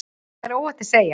Það er óhætt að segja.